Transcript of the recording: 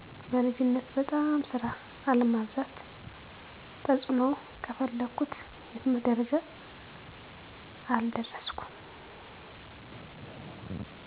በልጅነት በጣም ስራ አለማብዛት ተጽእኖው ከፈለኩት የትምህርት ደረጃ አልደረስኩም